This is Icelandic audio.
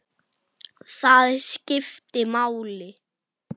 Það skipti máli.